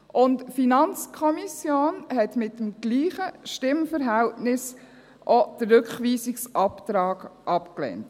Und die FiKo hat mit dem gleichen Stimmverhältnis auch den Rückweisungsantrag abgelehnt.